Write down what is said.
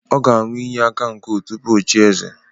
Ọ ga-aṅu iyi aka nkwu tupu ochie eze